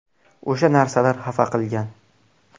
O‘sha narsalar xafa qilgan.